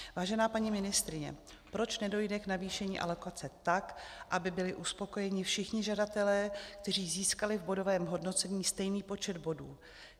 Vážená paní ministryně, proč nedojde k navýšení alokace tak, aby byli uspokojeni všichni žadatelé, kteří získali v bodovém hodnocení stejný počet bodů?